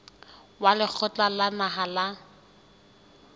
wa lekgotla la naha la